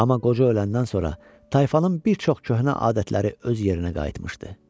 Amma qoca öləndən sonra tayfanın bir çox köhnə adətləri öz yerinə qayıtmışdı.